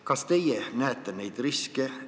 Kas teie näete neid riske?